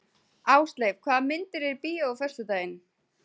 Ásleif, hvaða myndir eru í bíó á föstudaginn?